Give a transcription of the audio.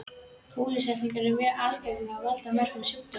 Kúlusýklar eru mjög algengir og valda mörgum sjúkdómum.